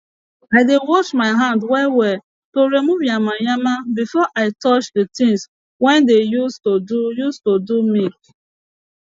i dey wash my hand well well to remove yamayama before i touch de tins we dey use to do use to do milk